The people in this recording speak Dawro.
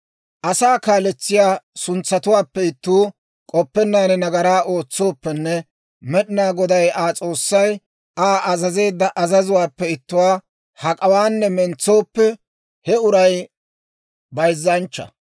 « ‹Asaa kaaletsiyaa suntsatuwaappe ittuu k'oppennaan nagaraa ootsooppenne Med'inaa Goday Aa S'oossay Aa azazeedda azazuwaappe ittuwaa hak'awaanne mentsooppe, he uray bayzzanchcha.